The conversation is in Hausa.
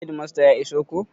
Hedimasta ya iso ko?